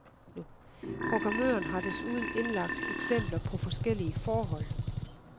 Programmøren har desuden indlagt eksempler på forskellige forhold.